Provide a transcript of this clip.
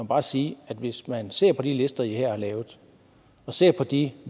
bare sige at hvis man ser på de lister i her har lavet og ser på de